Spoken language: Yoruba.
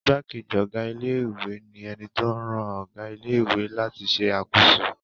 Ìgbákejì ọ̀gá ilé-ìwé ni ẹni tó ń ran ọ̀gá ilé-ìwé láti ṣe àkóso.